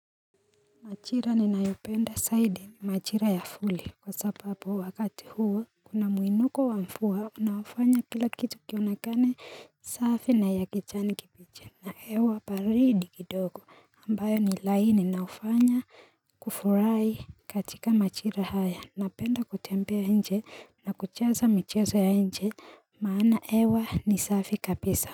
Majira ni nayopenda saidi majira ya fuli kwa sababu wakati huu Kuna muinuko wa mvua unafanya kila kitu kionekane safi na ya kijani kipiche Nahewa baridi kidogo ambayo ni laini na hufanya kufurahi katika majira haya Napenda kutembea nje na kucheza michezo ya nje maana hewa ni safi kabisa.